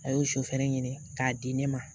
A y'o sɔfɛnɛ ɲini k'a di ne ma